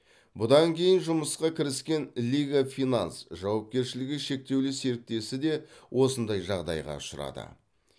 бұдан кейін жұмысқа кіріскен лига финанс жауапкершілігі шектеулі серіктесі де осындай жағдайға ұшырады